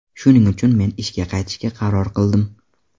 Shuning uchun men ishga qaytishga qaror qildim.